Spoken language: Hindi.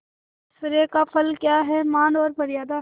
ऐश्वर्य का फल क्या हैमान और मर्यादा